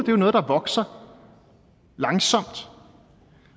jo noget der vokser langsomt